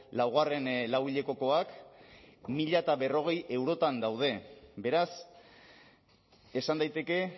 laugarren lauhilekokoak mila berrogei eurotan daude beraz esan daiteke